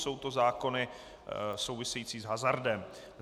Jsou to zákony související s hazardem.